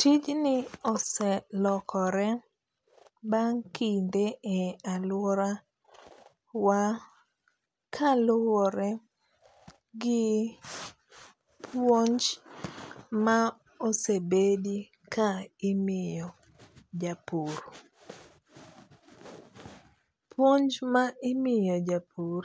Tijni oselokore bang' kinde e aluorawa kaluore gi puonj ma osebedi kaimiyo japur. Puonj ma imiyo japur